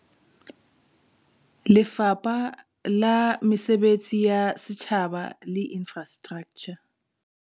Lefapha la Mesebetsi ya Setjhaba le Infrastraktjha